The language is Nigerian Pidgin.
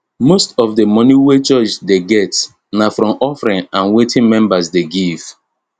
most of d moni wey church dey get na from offering and wetin members dey give